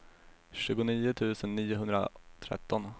tjugonio tusen niohundratretton